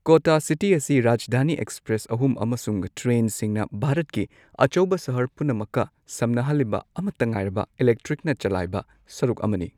ꯀꯣꯇꯥ city ꯑꯁꯤ Rajdhani express ꯑꯍꯨꯝ ꯑꯃꯁꯨꯡ ꯇꯔꯦꯟꯁꯤꯡꯅ ꯚꯥꯔꯠꯀꯤ ꯑꯆꯧꯕ ꯁꯍꯔ ꯄꯨꯝꯅꯃꯛꯀ ꯁꯝꯅꯍꯜꯂꯤꯕ ꯑꯃꯠꯇ ꯉꯥꯏꯔꯕ ꯏꯂꯦꯛꯇ꯭ꯔꯤꯛꯅ ꯆꯜꯂꯥꯏꯕ ꯁꯔꯨꯛ ꯑꯃꯅꯤ꯫